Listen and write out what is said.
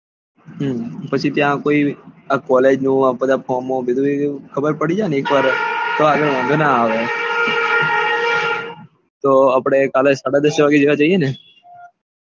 હમ પછી ત્યાં college નું ને આ બધા ફોમો એવું બધું ખબર પડી જાય ને તો આપડે કાલે સાડા દસ વાગે જેવા જઈએ ને